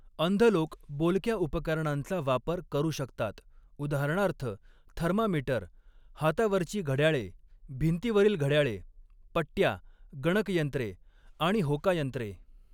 अंध लोक बोलक्या उपकरणांचा वापर करू शकतात, उदा. थर्मामीटर, हातावरची घड्याळे, भिंतीवरील घड्याळे, पट्ट्या, गणकयंत्रे आणि होकायंत्रे.